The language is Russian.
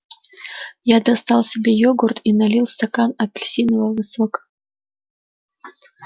я достал себе йогурт и налил стакан апельсинового сока